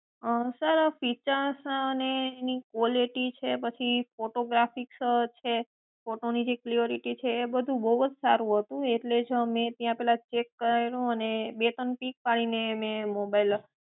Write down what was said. અં sir features અને એની quality છે પછી ફોટોગ્રાફીકસ છે ફોટો ની જે ક્લીયોરીટી છે એ બધું બહુ જ સારું હતું એટલે જ મેં પેલા ત્યાં ચેક કર્યું અને બે ત્રણ પીક પડી ને એને mobile આપ્યો